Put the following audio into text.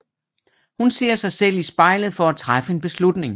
Hun ser sig selv i spejlet for at træffe en beslutning